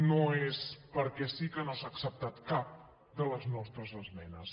no és perquè sí que no s’ha acceptat cap de les nostres esmenes